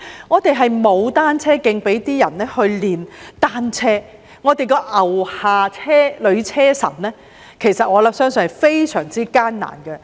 我們沒有單車徑給他們練習，而我相信"牛下女車神"的訓練也是非常艱難的。